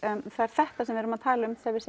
það er þetta sem við erum að tala um þegar við